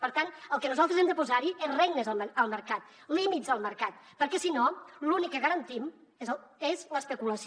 per tant el que nosaltres hem de posar hi és regnes al mercat límits al mercat perquè si no l’únic que garantim és l’especulació